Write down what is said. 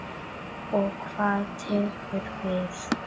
Og hvað tekur við?